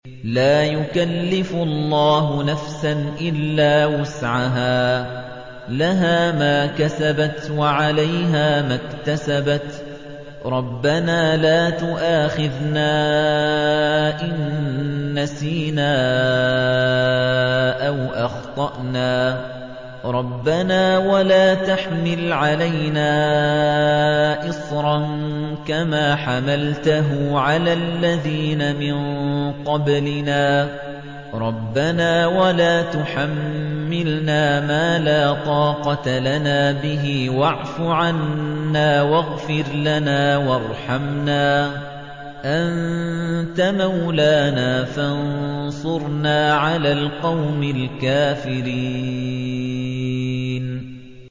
لَا يُكَلِّفُ اللَّهُ نَفْسًا إِلَّا وُسْعَهَا ۚ لَهَا مَا كَسَبَتْ وَعَلَيْهَا مَا اكْتَسَبَتْ ۗ رَبَّنَا لَا تُؤَاخِذْنَا إِن نَّسِينَا أَوْ أَخْطَأْنَا ۚ رَبَّنَا وَلَا تَحْمِلْ عَلَيْنَا إِصْرًا كَمَا حَمَلْتَهُ عَلَى الَّذِينَ مِن قَبْلِنَا ۚ رَبَّنَا وَلَا تُحَمِّلْنَا مَا لَا طَاقَةَ لَنَا بِهِ ۖ وَاعْفُ عَنَّا وَاغْفِرْ لَنَا وَارْحَمْنَا ۚ أَنتَ مَوْلَانَا فَانصُرْنَا عَلَى الْقَوْمِ الْكَافِرِينَ